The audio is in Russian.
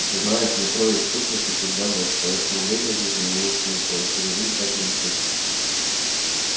ты знаешь в метро ведь в сущности всегда ночь поэтому время здесь не имеет смысла если за ним тщательно не следить